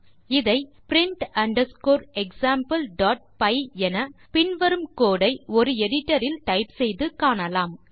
இதை print underscore exampleபை என பின் வரும் கோடு ஐ ஒரு எடிட்டர் இல் டைப் செய்து காணலாம்